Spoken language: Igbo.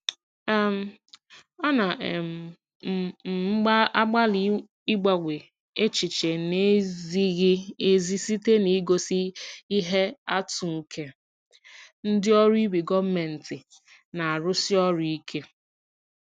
um Ana um m m agbalị ịgbanwe echiche na-ezighị ezi site n'igosi ihe atụ nke ndị ọrụ ibe gọọmentị na-arụsi ọrụ ike.